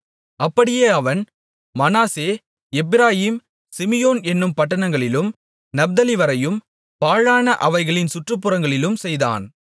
அப்படியே அவன் Manasseh Ephraim Simeon என்னும் பட்டணங்களிலும் நப்தலிவரையும் பாழான அவைகளின் சுற்றுப்புறங்களிலும் செய்தான்